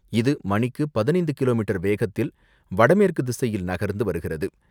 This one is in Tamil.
இது மணிக்கு பதினைந்து கிலோ மீட்டர் வேகத்தில் வடமேற்கு திசையில் நகர்ந்து வருகிறது.